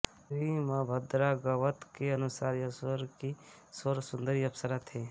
श्रीमद्भागवत के अनुसार यह स्वर्ग की सर्वसुंदर अप्सरा थी